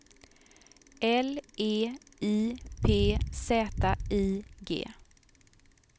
L E I P Z I G